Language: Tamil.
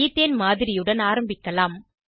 ஈத்தேன் மாதிரியுடன் ஆரம்பிக்கலாம்